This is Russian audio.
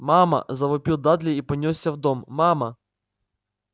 мама завопил дадли и понёсся в дом мама